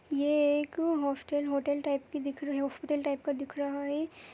ये एक hostel hotel type का दिख रहा हॉस्पिटल टाइप का दिख रहा हैं।